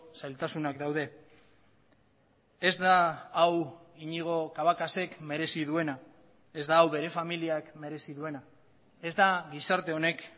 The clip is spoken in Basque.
zailtasunak daude ez da hau iñigo cabacas ek merezi duena ez da hau bere familiak merezi duena ez da gizarte honek